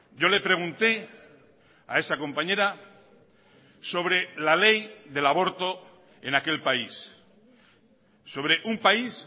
yo le pregunte a esa compañera sobre la ley del aborto en aquel país sobre un país